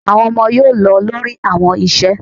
Awọn ọmọ yoo lọ lori awọn iṣẹ